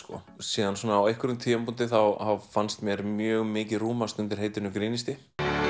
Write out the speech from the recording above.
síðan svona á einhverjum tímapunkti þá fannst mér mjög mikið rúmast undir heitinu grínisti